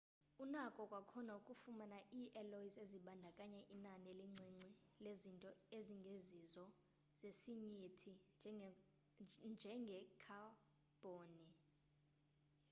unako kwakhona ukufumana ii-alloys ezibandakanya inani elincinci lezinto ezingezizo zesinyithi njengekhabhoni